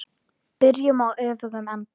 Byrjum á öfugum enda.